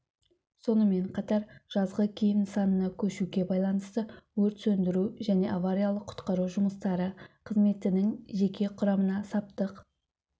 сонымен қатар жазғы киім нысанына көшуге байланысты өрт сөндіру және авариялық-құтқару жұмыстары қызметінің жеке құрамына саптық